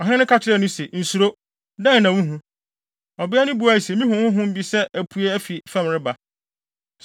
Ɔhene no ka kyerɛɛ no se, “Nsuro. Dɛn na wuhu?” Ɔbea no buae se, “Mihu honhom bi sɛ apue afi fam reba.”